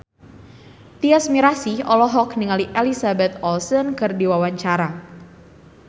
Tyas Mirasih olohok ningali Elizabeth Olsen keur diwawancara